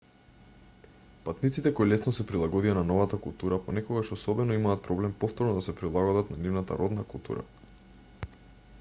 патниците кои лесно се прилагодија на новата култура понекогаш особено имаат проблем повторно да се прилагодат на нивната родна култура